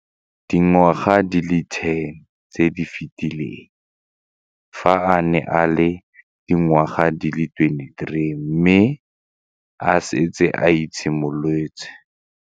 Dingwaga di le 10 tse di fetileng, fa a ne a le dingwaga di le 23 mme a setse a itshimoletse.